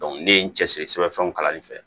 ne ye n cɛsiri sɛbɛnfɛnw kalali fɛ